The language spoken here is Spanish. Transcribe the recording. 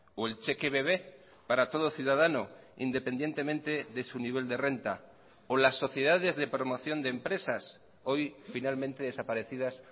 o el cheque bebe para todo ciudadano independientemente de su nivel de renta o las sociedades de promoción de empresas hoy finalmente desaparecidas